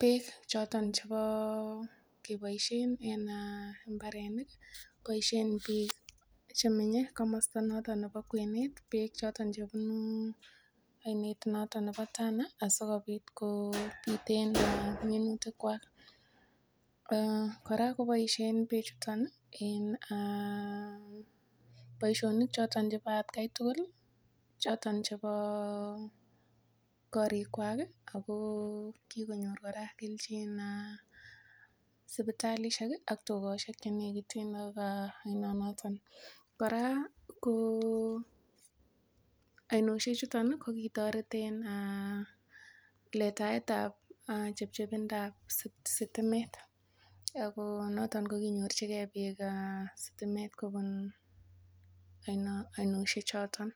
beek choton chebo keboisiien en mbarenik. Boisien biik choto chemenye komosta nebo kwenet beek choto chebunu oinet noto nebo Tana asikobit kobiten minutikwak. Kora koboisien beechuto en boisionik choto chebo atkan tugul choto chebo korikwak ago kigonyor kora kelchin sipitalishek ak tugoshek che negiten ak oinonoton. Kora ko oinoshek chuton kogitoret en letaet ab chepchebindap sitimet ago noton koginyorchige biik sitimet kobun oinoshek chotet.